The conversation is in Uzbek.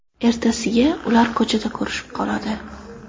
Ertasiga ular ko‘chada ko‘rishib qoladi.